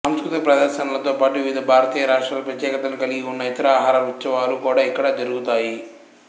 సాంస్కృతిక ప్రదర్శనలతో పాటు వివిధ భారతీయ రాష్ట్రాల ప్రత్యేకతలను కలిగి ఉన్న ఇతర ఆహార ఉత్సవాలు కూడా ఇక్కడ జరుగుతాయి